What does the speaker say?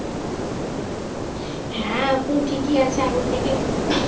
হ্যাঁ এখন ঠিকই আছে আগের থেকে